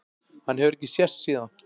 Hann hefur ekki sést síðan.